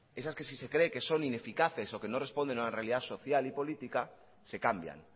esas que si se creen que son ineficaces o que no responden a una realidad social y política se cambian